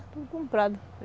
É, tudo comprado.